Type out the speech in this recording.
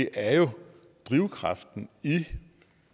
er drivkraften i